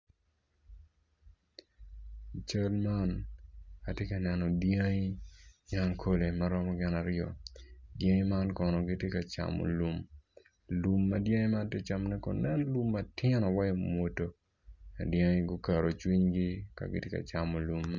I cal man atye ka neno dyangi nyankole ma romo gin aryo dyangi man kono gitye ka camo lum, lum ma dyangi man tye ka camone kono nen lum matino waci mwoto dyangi guketo cwinygi ka gitye ka camo lum man